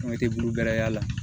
An tɛ burɛ y'a la